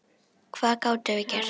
Hvað gátum við gert?